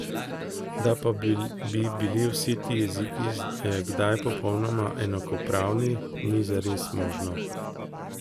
Da pa bi bili vsi ti jeziki kdaj popolnoma enakopravni, ni zares možno.